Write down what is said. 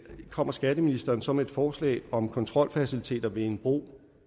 kommer skatteministeren så med et forslag om kontrolfaciliteter ved en bro